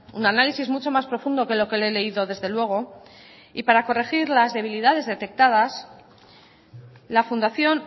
un análisis mucho más profundo que lo que le he leído desde luego y para corregir las debilidades detectadas la fundación